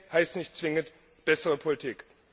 Mehr Geld heißt nicht zwingend bessere Politik.